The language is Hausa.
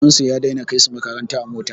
Baban su ya dai na kai su makaranta da mota